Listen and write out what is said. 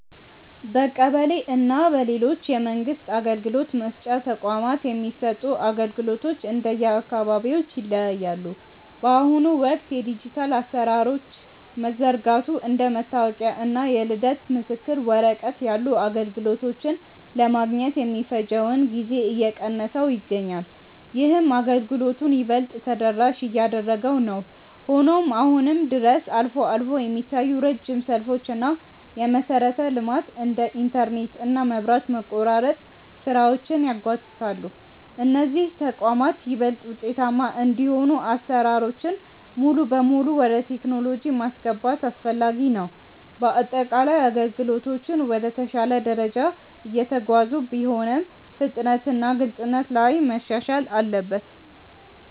በቀበሌ እና በሌሎች የመንግስት አገልግሎት መስጫ ተቋማት የሚሰጡ አገልግሎቶች እንደየአካባቢው ይለያያሉ። በአሁኑ ወቅት የዲጂታል አሰራሮች መዘርጋቱ እንደ መታወቂያ እና የልደት ምስክር ወረቀት ያሉ አገልግሎቶችን ለማግኘት የሚፈጀውን ጊዜ እየቀነሰው ይገኛል። ይህም አገልግሎቱን ይበልጥ ተደራሽ እያደረገው ነው። ሆኖም አሁንም ድረስ አልፎ አልፎ የሚታዩ ረጅም ሰልፎች እና የመሰረተ ልማት (እንደ ኢንተርኔት እና መብራት) መቆራረጥ ስራዎችን ያጓትታሉ። እነዚህ ተቋማት ይበልጥ ውጤታማ እንዲሆኑ አሰራሮችን ሙሉ በሙሉ ወደ ቴክኖሎጂ ማስገባት አስፈላጊ ነው። በአጠቃላይ አገልግሎቶቹ ወደ ተሻለ ደረጃ እየተጓዙ ቢሆንም፣ ፍጥነትና ግልጽነት ላይ መሻሻል አለበት።